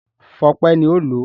Fọpẹ́ ni ó lòó.